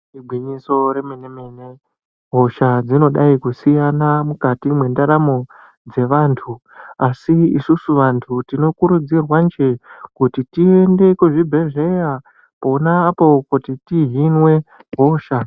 Igwinyiso remene mene hosha dzinodai kusiyana mukati mwendaramo dzevantu. Asi isusu vantu tinokurudzirwa kuti tiende kuchibhedhlera pona apapo kuti tihinwe hosha.